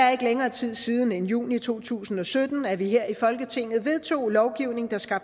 er ikke længere tid siden end i juni to tusind og sytten at vi her i folketinget vedtog en lovgivning der skal